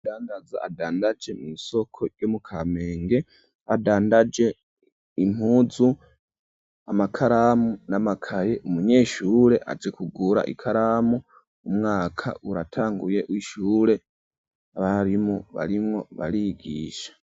Umudandaza adandaje mw'isoko yo mu Kamenge, adandaje impuzu amakaramu n'amakaye, umunyeshure aje kugura ikaramu ,umwaka uratanguye w'ishure abarimu barimwo barigisha.